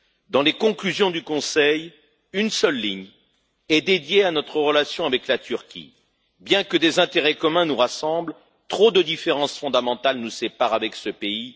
Dans les conclusions du Conseil, une seule ligne est dédiée à notre relation avec la Turquie. Bien que des intérêts communs nous rassemblent, trop de différences fondamentales nous séparent de ce pays.